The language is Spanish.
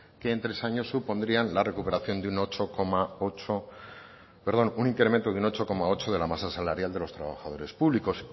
que en tres años supondrían un incremento de un ocho coma ocho de la masa salarial de los trabajadores públicos